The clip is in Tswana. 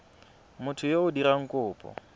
motho yo o dirang kopo